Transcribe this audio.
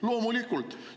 Loomulikult!